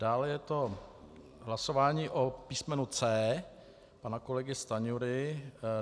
Dále je to hlasování o písmenu C pana kolegy Stanjury.